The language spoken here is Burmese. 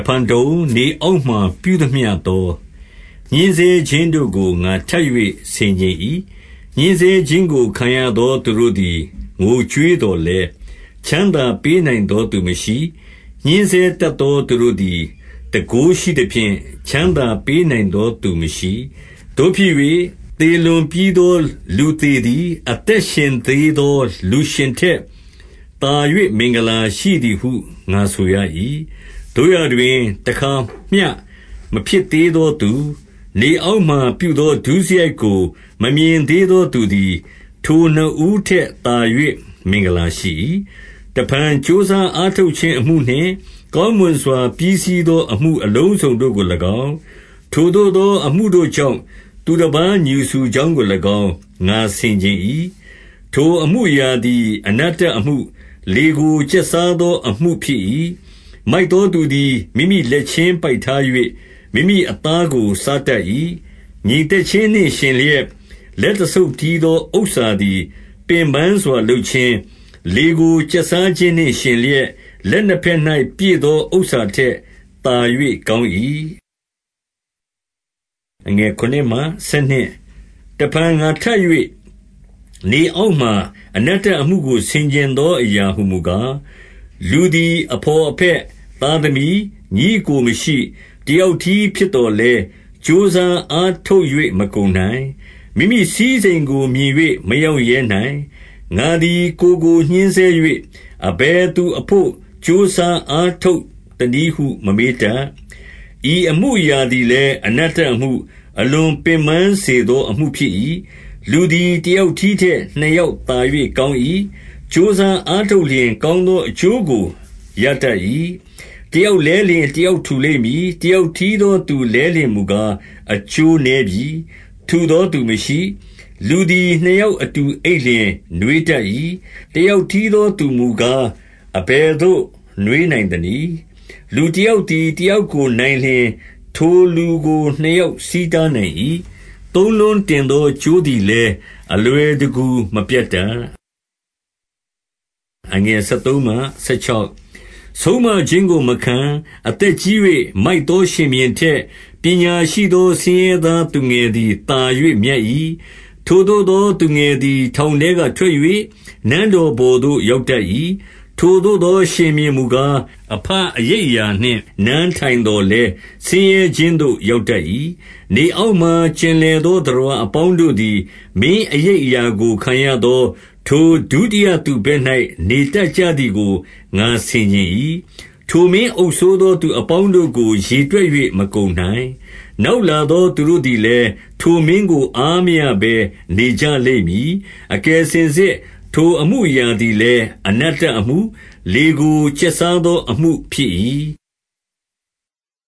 ဖန်တုံ၊ နေအောက်မှာ ပြုသမျှသော ညှဉ်းဆဲ ခြင်းတို့ကို ငါထပ်၍ဆင်ခြင်၏။ ညှဉ်းဆဲခြင်းကို ခံရသော သူတို့သည် ငိုကြွေးသော်လည်း၊ ချမ်းသာပေးနိုင်သော သူမရှိ။ ညှဉ်းဆဲတတ်သော သူတို့သည် တန်ခိုးရှိသဖြင့် ချမ်းသာပေးနိုင်သောသူမရှိ။ သို့ဖြစ်၍၊ သေလွန်ပြီးသော လူသေသည် အသက်ရှင်သေးသော လူရှင်ထက်သာ၍ မင်္ဂလာရှိသည် ဟု ငါဆိုရ၏။ သို့ရာတွင် တခါမျှ မဖြစ်သေးသောသူ၊ နေ အောက်မှာ ပြုသော ဒုစရိုက်ကိုမမြင်သေးသောသူသည် ထိုနှစ်ဦးထက်သာ၍ မင်္ဂလာရှိ၏။ တဖန် ကြိုးစားအားထုတ်ခြင်းအမှုနှင့်၊ ကောင်း မွန်စွာ ပြီးစီးသောအမှု အလုံးစုံတို့ကို၎င်း၊ ထိုသို့သော အမှုတို့ကြောင့် သူတပါး ငြူစူကြောင်းကို၎င်း ငါဆင်ခြင် ၏။ ထိုအမှုအရာသည် အနတ္တအမှု၊ လေကို ကျက်စား သောအမှုဖြစ်၏။ မိုက်သောသူသည် မိမိလက်ချင်းပိုက်ထား၍၊ မိမိ အသားကို စားတတ်၏။ ငြိမ်သက်ခြင်းနှင့် ယှဉ်လျက်၊ လက်တဆုပ် တည်းသောဥစ္စာသည် ပင်ပန်းစွာလုပ်ခြင်း၊ လေကို ကျက်စားခြင်းနှင့်ယှဉ်လျက်၊ လက်နှစ်ဘက်၌ ပြည့်သော ဥစ္စာထက်သာ၍ ကောင်း၏။ တဖန်ငါထပ်၍၊ နေအောက်မှာအနတ္တအမှုကို ဆင်ခြင်သောအရာဟူမူကား၊ လူသည်အဘော်အဘက်၊ သားသမီး၊ ညီအစ်ကို မရှိ၊ တယောက်တည်းဖြစ်သော်လည်း၊ ကြိုးစားအားထုတ် ၍ မကုန်နိုင်။ မိမိစည်းစိမ်ကိုမြင်၍ မရောင့်ရဲနိုင်။ ငါသည် ကိုယ်ကိုညှဉ်းဆဲ၍၊ အဘယ်သူအဘို့ ကြိုးစား အားထုတ်သနည်းဟု မမေးတတ်။ ဤအမှုအရာသည် လည်း အနတ္တအမှု၊ အလွန်ပင်ပန်းစေသောအမှုဖြစ်၏။ လူသည်တယောက်တည်းထက် နှစ်ယောက် သာ၍ကောင်း၏။ ကြိုးစားအားထုတ်လျှင်၊ ကောင်းသော အကျိုးကို ရတတ်၏။ တယောက်လဲလျှင် တယောက်ထူလိမ့်မည်။ တယောက်တည်းသောသူလဲလျှင်မူကား အကျိုးနည်းပြီ။ ထူသော သူမရှိ။ လူသည် နှစ်ယောက်အတူအိပ်လျှင် နွေးတတ် ၏။ တယောက်တည်းသောသူမူကား၊ အဘယ်သို့ နွေးနိုင် သနည်း။ လူတယောက်သည် တယောက်ကိုနိုင်လျှင် ထိုလူကိုနှစ်ယောက် ဆီးတားနိုင်၏။ သုံးလွန်းတင်သော ကြိုးသည်လည်း အလွယ်တကူမပြတ်တတ်။ ဆုံးမခြင်းကိုမခံ၊ အသက်ကြီး၍ မိုက်သော ရှင် ဘုရင်ထက်၊ ပညာရှိသောဆင်းရဲသား သူငယ်သည် သာ၍မြတ်၏။ ထိုသို့သော သူငယ်သည် ထောင်ထဲကထွက်၍၊ နန်းတော်ပေါ်သို့ရောက်တတ်၏။ ထိုသို့သောရှင်ဘုရင် မူကား၊ အဘအရိပ်အရာနှင့် နန်းထိုင်သော်လည်း၊ ဆင်းရဲခြင်းသို့ ရောက်တတ်၏။ နေအောက်မှာ ကျင်လည်သော သတ္တဝါ အပေါင်းတို့သည် မင်းအရိပ်အရာကိုခံရသော ထိုဒုတိယ သူဘက်၌ နေတတ်ကြသည်ကို ငါဆင်ခြင်၏။ ထိုမင်းအုပ်စိုးသော သူအပေါင်းတို့ကို ရေတွက် ၍ မကုန်နိုင်။ နောက်လာသောသူတို့သည်လည်း၊ ထိုမင်းကို အားမရဘဲနေကြလိမ့်မည်။ အကယ်စင်စစ် ထိုအမှုအရာသည်လည်း အနတ္တအမှု၊ လေကို ကျက်စား သောအမှုဖြစ်၏။